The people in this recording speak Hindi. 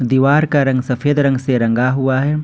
दीवार का रंग सफेद रंग से रंगा हुआ है।